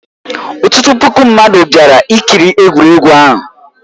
Ọtụtụ puku mmadụ bịara ikiri egwuregwu ahụ.